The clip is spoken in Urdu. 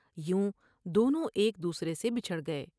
یوں دونوں ایک دوسرے سے بچھڑ گئے ۔